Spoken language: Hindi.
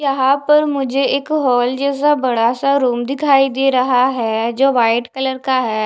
यहाँ पर मुझे एक हॉल जैसा बड़ा सा रूम दिखाई दे रहा है जो वाइट कलर का है।